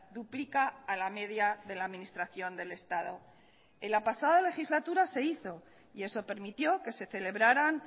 duplica a la media de la administración del estado en la pasada legislatura se hizo y eso permitió que se celebraran